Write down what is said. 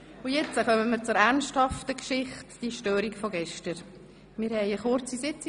Jetzt kommen wir zu einer ernsthaften Geschichte, der gestrigen Störung.